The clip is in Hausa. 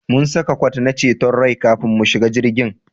Mun saka kwat na ceton rai kafin mu shiga jirgin